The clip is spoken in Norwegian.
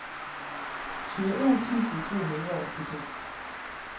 tjueen tusen to hundre og åttito